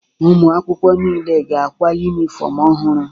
Ụmụ akwụkwọ niile ga-akwa yunifọmụ ọhụrụ.